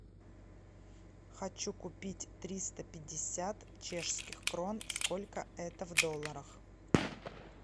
хочу купить триста пятьдесят чешских крон сколько это в долларах